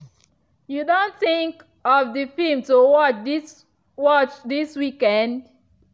you don think of the film to watch this watch this weekend?